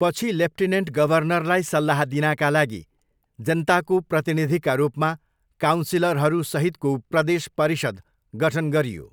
पछि, लेफ्टिनेन्ट गभर्नरलाई सल्लाह दिनाका लागि जनताको प्रतिनिधिका रूपमा काउन्सिलरहरू सहितको 'प्रदेश परिषद' गठन गरियो।